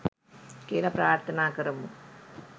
කියලා ප්‍රාර්තනා කරමු